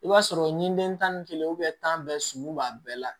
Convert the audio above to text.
I b'a sɔrɔ ɲiden tan ni kelen tan bɛɛ sumu b'a bɛɛ la